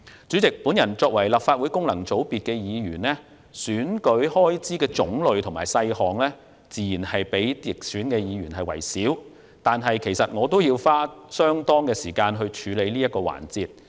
主席，我作為立法會功能界別議員，選舉開支的種類和細項，自然較直選議員少，但我也要花費相當時間處理這些事項。